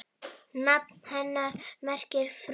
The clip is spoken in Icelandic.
Nafn hennar merkir frú.